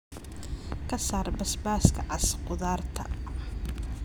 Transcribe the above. ka saar basbaaska cas khudaarta